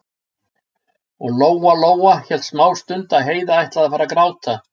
Og Lóa-Lóa hélt smástund að Heiða ætlaði að fara að gráta.